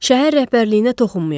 Şəhər rəhbərliyinə toxunmayaq.